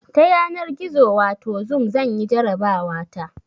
Ta yanar gizo wato zoom zanyi jarabawa ta